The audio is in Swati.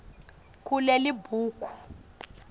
kulelibhuku